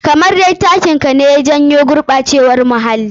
Kamar dai takin ka ne ya jawo gurɓacewar muhalii.